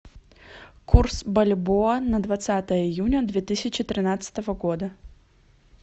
курс бальбоа на двадцатое июня две тысячи тринадцатого года